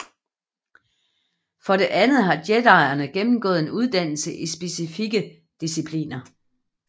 For det andet har jedierne gennemgået en uddannelse i specifikke discipliner